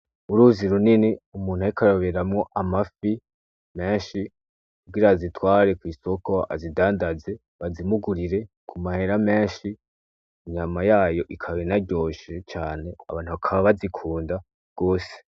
Uruzi runini umuntu ariko aroberamwo amafi menshi kugira azitware kw'isoko azidandaze bazimugurire ku mahera menshi, inyama yayo ikabe inaryoshe cane abantu bakaba bazikunda gose.